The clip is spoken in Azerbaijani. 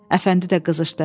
Əfəndi də qızışdı.